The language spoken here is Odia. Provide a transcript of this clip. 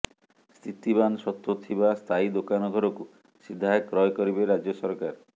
ସ୍ଥିତିବାନ ସତ୍ତ୍ୱ ଥିବା ସ୍ଥାୟୀ ଦୋକାନ ଘରକୁ ସିଧା କ୍ରୟ କରିବେ ରାଜ୍ୟ ସରକାର